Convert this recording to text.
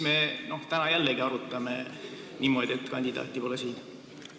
Miks me täna arutame seda jälle niimoodi, et kandidaati pole siin?